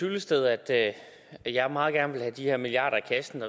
hyllested at jeg meget gerne vil have de her milliarder i kassen